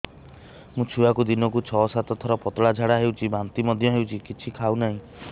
ମୋ ଛୁଆକୁ ଦିନକୁ ଛ ସାତ ଥର ପତଳା ଝାଡ଼ା ହେଉଛି ବାନ୍ତି ମଧ୍ୟ ହେଉଛି କିଛି ଖାଉ ନାହିଁ